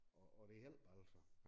Og og det hjælper altså